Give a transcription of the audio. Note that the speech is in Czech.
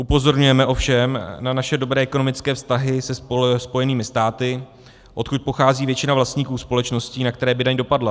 Upozorňujeme ovšem na naše dobré ekonomické vztahy se Spojenými státy, odkud pochází většina vlastníků společností, na které by daň dopadla.